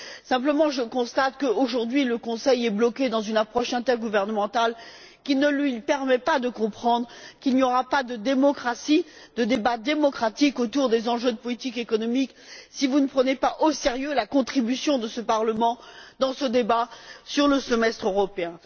Simplement, je constate qu'aujourd'hui, le Conseil est bloqué dans une approche intergouvernementale qui ne lui permet pas de comprendre qu'il n'y aura pas de démocratie, de débat démocratique, autour des enjeux de politique économique si vous ne prenez pas au sérieux la contribution de ce Parlement dans ce débat sur le semestre européen.